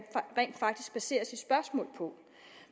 rent faktisk baserer sit spørgsmål på